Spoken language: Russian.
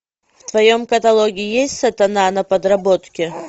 в твоем каталоге есть сатана на подработке